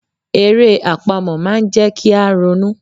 Eré àpamọ̀ máa ń jẹ́ kí a ronú.